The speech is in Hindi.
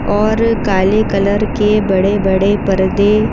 और काले कलर के बड़े-बड़े पर्दे --